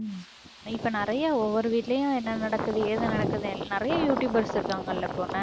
இப்ப நிறைய ஒவ்வொரு வீட்டுலயும் என்ன நடக்குது ஏது நடக்குதுன்னு எல்~ நிறைய யூடுயூபர்ஸ் இருக்காங்கல்ல